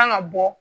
Kan ka bɔ